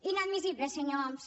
inadmissible senyor homs